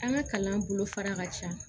An ka kalan bolo fara ka ca